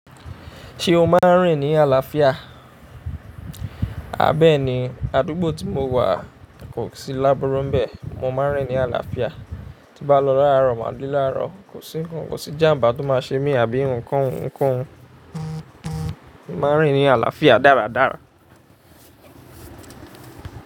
Se o ma n rin ni àlàáfíà? Bẹẹ̀ní àdúgbò ti mo wa, kòsí láburu ńbẹ, mo máa ń rin ni aláfíà. Tin bá lọ láàárọ̀, màá dé láàárọ̀, kò sí ǹkan, kò sí ijàmbà tó máa ṣe mi àbí ǹkan ounkoun. Mo máa ń rin ni aláfíà dáradára.